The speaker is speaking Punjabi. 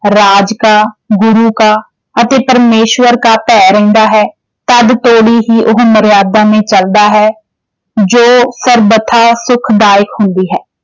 ਰਾਜ ਕਾ ਗੁਰੂ ਕਾ ਅਤੇ ਪਰਮੇਸ਼ਵਰ ਕਾ ਭੈਅ ਰਹਿੰਦਾ ਹੈ ਤਦ ਤੋੜੀ ਹੀ ਉਹ ਮਰਿਆਦਾ ਮੈਂ ਚੱਲਦਾ ਹੈ ਜੋ ਸਰਬਥਾ ਸੁੱਖਦਾਇਕ ਹੁੰਦੀ ਹੈ